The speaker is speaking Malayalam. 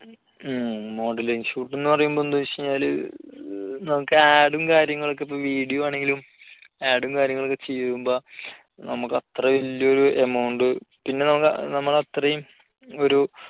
മ് modeling shoot എന്ന് പറയുമ്പോൾ എന്തെന്ന് വെച്ചാല് നമുക്ക് add ഉം കാര്യങ്ങളൊക്കെ ഇപ്പോ video ആണെങ്കിലും add ഉം കാര്യങ്ങളൊക്കെ ചെയ്യുമ്പോൾ നമുക്ക് അത്ര വലിയൊരു amount പിന്നെ നമ്മൾ അത്രയും ഒരു